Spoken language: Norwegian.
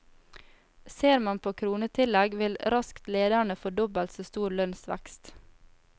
Ser man på kronetillegg vil raskt lederne få dobbelt så stor lønnsvekst.